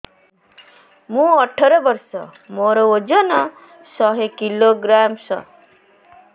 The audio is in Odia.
ମୁଁ ଅଠର ବର୍ଷ ମୋର ଓଜନ ଶହ କିଲୋଗ୍ରାମସ